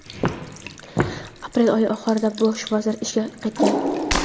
aprel oyi oxirlarida Bosh vazir ishga qaytgan.